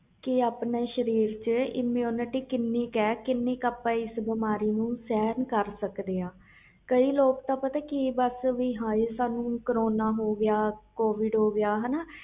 ਕਿ ਆਪਣੇ ਸਰੀਰ ਚ immunity ਕਿੰਨੀ ਕਾ ਕਿੰਨੀ ਆਪਾ ਇਸ ਬਿਮਾਰੀ ਨੂੰ ਸਹਿਣ ਕਰ ਸਕਦੇ ਆ ਕਈ ਲੋਕ ਤਾ ਸਾਨੂੰ ਹਾਏ ਕਰੋਨਾ ਹੋਗਿਆ